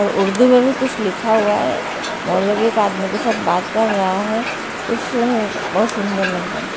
और उर्दू में भी कुछ लिखा हुआ है मौलबी एक आदमी के साथ बात कर रहा है कुछ बहोत सुंदर लग रहा--